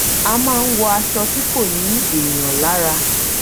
a ma ń wọ aṣọ tí kò ni èèyàn lara